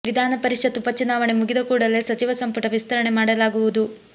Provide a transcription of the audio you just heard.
ವಿಧಾನ ಪರಿಷತ್ ಉಪಚುನಾವಣೆ ಮುಗಿದ ಕೂಡಲೇ ಸಚಿವ ಸಂಪುಟ ವಿಸ್ತರಣೆ ಮಾಡಲಾಗುವುದು